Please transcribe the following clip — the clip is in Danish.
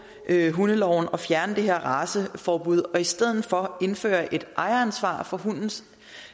hundeloven og fjerne det her raceforbud og i stedet for indføre et ejeransvar for hundens